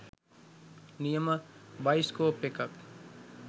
නියම බයිස්කෝප් එකක්.